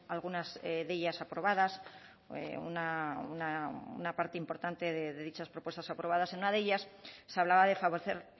algunas de ellas aprobadas una parte importante de dichas propuestas aprobadas en una de ellas se hablaba de favorecer